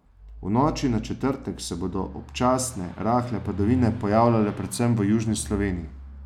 V noči na četrtek se bodo občasne rahle padavine pojavljale predvsem v južni Sloveniji.